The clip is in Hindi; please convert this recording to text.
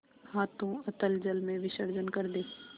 हाथों अतल जल में विसर्जन कर दे